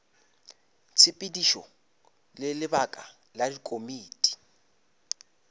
tshepedišo le lebaka la dikomiti